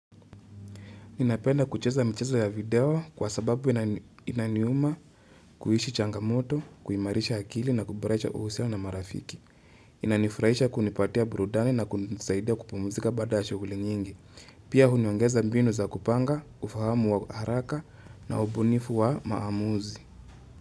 Ninapenda kucheza mchezo ya video kwa sababu inaniuma kuishi changamoto, kuimarisha akili na kuboresha uhusiano na marafiki. Inanifurahisha kunipatia burudani na kunisaidia kupumuzika baada ya shughuli nyingi. Pia huniongeza mbinu za kupanga, ufahamu wa haraka na ubunifu wa maamuzi.